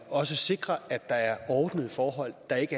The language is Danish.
også sikrer at der er ordnede forhold og ikke